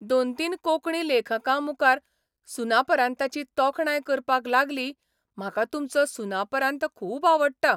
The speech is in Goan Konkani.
दोन तीन कोंकणी लेखकां मुखार सुनापरान्ताची तोखणाय करपाक लागली म्हाका तुमचो सुनापरान्त खूब आवडटा.